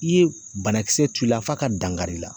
I ye banakisɛ tu i la f'a ka dankar'i la